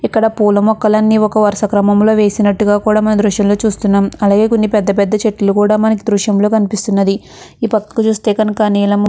ఇక్కడ పూల మొక్కలు అన్నీ ఒక వరుస క్రమంలో వేసినట్టుగా కూడా మనము ఈ దృశ్యంలో చూస్తున్నామ్. అలాగే పెద్ద పెద్ద చెట్లు కూడా మనకు ఈ దృశ్యంలో కనిపిస్తున్నది. ఈ పక్కకు చూస్తే కనుక నీలము--